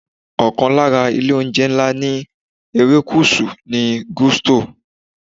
Okan lara ilé - oúnjẹ ńlá ní erékùṣù ni Gusto.